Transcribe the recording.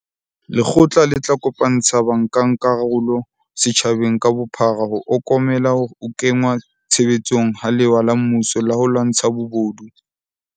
Lekgotla le tla kopantsha bankakarolo setjhabeng ka bophara ho okomela ho kengwa tshebetsong ha lewa la mmuso la ho lwantsha bobodu.